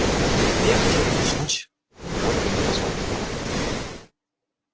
илья хотел бы уснуть но водка не позволяла